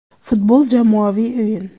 Futbol - jamoaviy o‘yin.